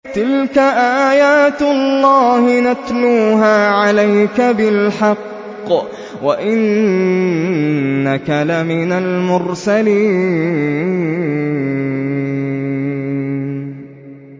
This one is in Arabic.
تِلْكَ آيَاتُ اللَّهِ نَتْلُوهَا عَلَيْكَ بِالْحَقِّ ۚ وَإِنَّكَ لَمِنَ الْمُرْسَلِينَ